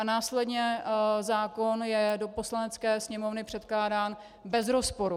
A následně zákon je do Poslanecké sněmovny předkládán bez rozporu.